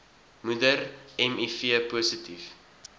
moeder miv positief